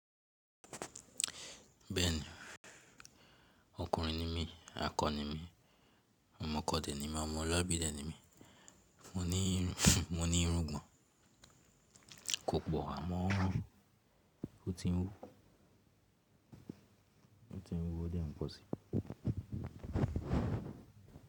Bẹ́ẹ̀ni, ọkùnrin ni mí, akọ ni mí, ọmọ ọkọ dẹ̀ ni mí, ọmọ ọlọ́bí dẹ̀ ni mí, mo ní irúgbọ̀n, kò pọ̀ àmọ́ ó ti ń wú, ó ti ń wú o dẹ̀ ń pọ̀ si.